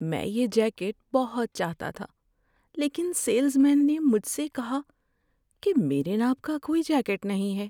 میں یہ جیکٹ بہت چاہتا تھا لیکن سیلز مین نے مجھ سے کہا کہ میرے ناپ کا کوئی جیکٹ نہیں ہے۔